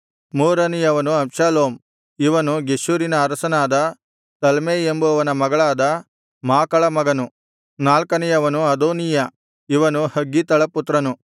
ಮೂರನೆಯವನು Absalom ಇವನು ಗೆಷೂರಿನ ಅರಸನಾದ ತಲ್ಮೈ ಎಂಬುವನ ಮಗಳಾದ ಮಾಕಳ ಮಗನು ನಾಲ್ಕನೆಯವನು ಅದೋನೀಯ ಇವನು ಹಗ್ಗೀತಳ ಪುತ್ರನು